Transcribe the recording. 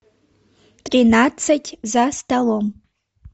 тринадцать за столом